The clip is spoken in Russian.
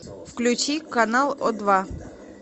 включи канал о два